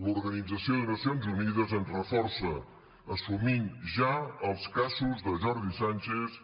l’organització de nacions unides ens reforça assumint ja els casos de jordi sànchez